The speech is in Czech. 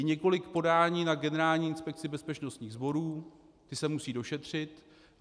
Je několik podání na Generální inspekci bezpečnostních sborů, ta se musí došetřit.